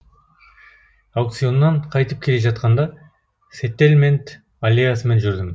аукционнан қайтып келе жатқанда сеттельмент аллеясымен жүрдім